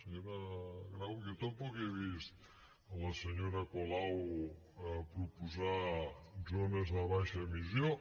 senyora grau jo tampoc he vist la senyora colau proposar zones de baixa emissió